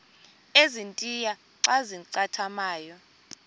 ezintia xa zincathamayo